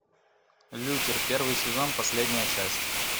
лютер первый сезон последняя часть